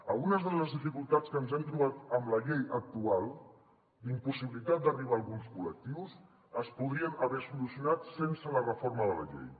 algunes de les dificultats que ens hem trobat amb la llei actual d’impossibilitat d’arribar a alguns col·lectius es podrien haver solucionat sense la reforma de la llei